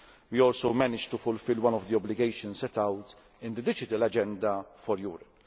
We also managed to fulfil one of the obligations set out in the Digital Agenda for Europe.